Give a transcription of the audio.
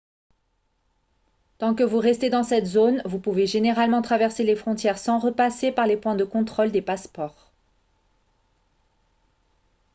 tant que vous restez dans cette zone vous pouvez généralement traverser les frontières sans repasser par les points de contrôle des passeports